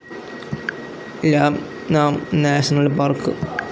ലാം നാം national park